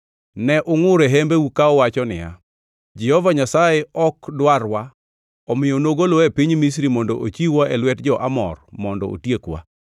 Ne ungʼur e hembeu ka uwacho niya, Jehova Nyasaye ok dwarwa, omiyo nogolowa e piny Misri mondo ochiw-wa e lwet jo-Amor mondo otiekwa.